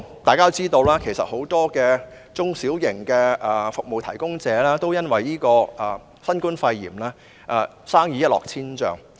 大家都知道，很多中小型服務提供者都因新冠肺炎而生意一落千丈。